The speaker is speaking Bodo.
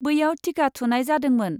बैयाव टिका थुनाय जादोंमोन।